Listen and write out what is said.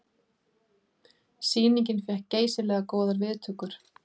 Sýningin fékk geysilega góðar viðtökur